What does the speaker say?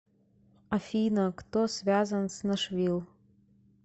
афина кто связан с нашвилл